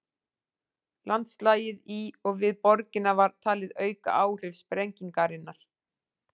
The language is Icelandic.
Landslagið í og við borgina var talið auka áhrif sprengingarinnar.